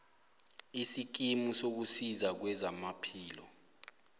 isikimu sokusiza kwezamaphilo